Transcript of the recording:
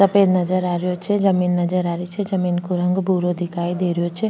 सफ़ेद नजर आ रहो छे जमीं नजर आ री छे जमीं को रंग भूरो दिखाई दे रो छे।